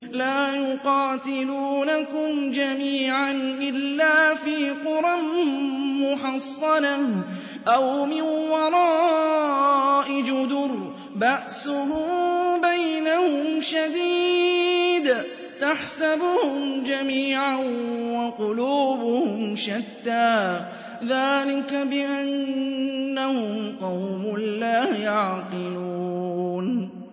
لَا يُقَاتِلُونَكُمْ جَمِيعًا إِلَّا فِي قُرًى مُّحَصَّنَةٍ أَوْ مِن وَرَاءِ جُدُرٍ ۚ بَأْسُهُم بَيْنَهُمْ شَدِيدٌ ۚ تَحْسَبُهُمْ جَمِيعًا وَقُلُوبُهُمْ شَتَّىٰ ۚ ذَٰلِكَ بِأَنَّهُمْ قَوْمٌ لَّا يَعْقِلُونَ